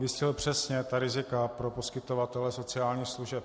Vystihl přesně ta rizika pro poskytovatele sociálních služeb.